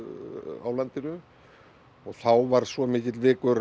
á landinu og þá var svo mikill vikur